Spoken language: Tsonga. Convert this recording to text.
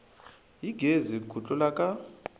hi gezi ku tlula ka